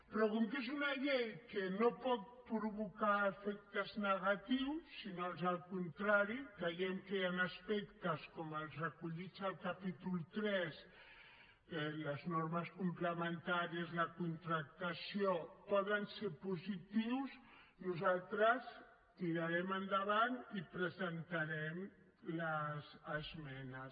però com que és una llei que no pot provocar efectes negatius sinó ans al contrari creiem que hi han aspectes com els recollits al capítol iii les normes complementàries a la contractació poden ser positius nosaltres tirarem endavant i presentarem les esmenes